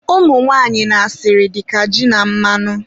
umunwanyị na asịrị dịka ji na mmanụ.